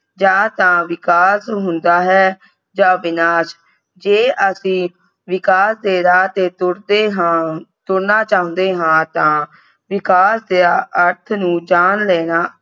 ਜਾ ਤਾਂ ਵਿਕਾਸ ਹੁੰਦਾ ਹੈ ਜਾ ਵਿਨਾਸ਼ ਜੇ ਅਸੀਂ ਵਿਕਾਸ ਦੇ ਰਾਹ ਤੇ ਤੁਰਦੇ ਹਾਂ ਤੁਰਨਾ ਚਾਹੁੰਦੇ ਹਾਂ ਤਾਂ ਵਿਕਾਸ ਦੇ ਅਰਥ ਨੂੰ ਜਾਣ ਲੈਣਾ